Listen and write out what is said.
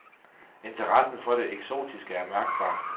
Interessen for det eksotiske er mærkbar.